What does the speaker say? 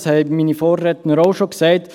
das haben meine Vorredner auch schon gesagt.